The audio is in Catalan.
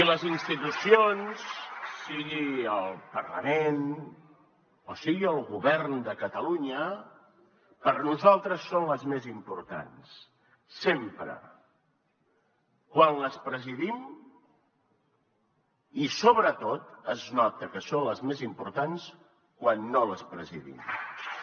i les institucions sigui el parlament o sigui el govern de catalunya per nosaltres són les més importants sempre quan les presidim i sobretot es nota que són les més importants quan no les presidim també